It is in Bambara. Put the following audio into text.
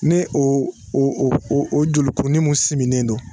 Ni o o o jolikurunin min sigilen don.